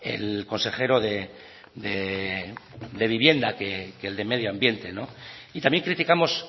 el consejero de vivienda que el de medio ambiente y también criticamos